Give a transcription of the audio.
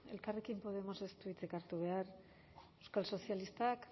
elkarrekin podemosek ez du hitzik hartu behar euskal sozialistak